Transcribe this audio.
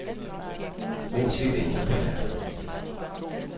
Mens vi venter på latteren.